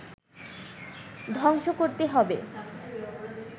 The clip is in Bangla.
ধ্বংস করতে হবে